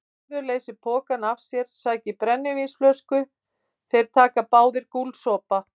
Bárður leysir pokann af sér, sækir brennivínsflösku, þeir taka báðir gúlsopa.